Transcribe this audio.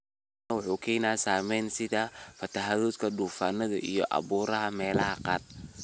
Elnino wuxuu keenaa saameyno sida fatahaado, duufaano iyo abaaro meelaha qaar.